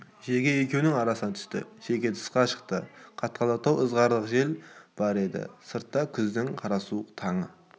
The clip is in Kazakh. шеге екеуінің арасына түсті шеге тысқа шықты қатқылдау ызғырық жел бар еді сыртта күздің қарасуық таңы